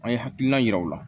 An ye hakilina yira o la